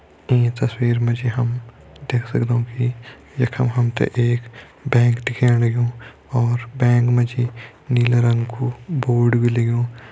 ईं तस्वीर म जी हम देख सगदौं कि यखम हमतैं एक बैंक दिखेण लग्युं और बैंक म जी नीला रंगा कु बोर्ड बि लग्युं।